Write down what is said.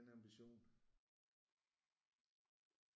At have den ambition